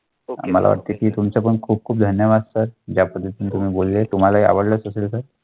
Okay मला वाटते की तुमचं पण खूप खूप धन्यवाद या पद्धती.